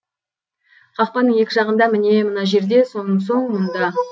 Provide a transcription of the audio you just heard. қақпаның екі жағында міне мына жерде сонсоң мұнда